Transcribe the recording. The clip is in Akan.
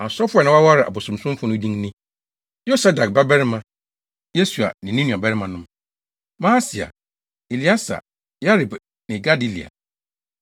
Asɔfo a na wɔawareware abosonsomfo no din ni: Yosadak babarima Yesua ne ne nuabarimanom: Maaseia, Elieser, Yarib ne Gedalia.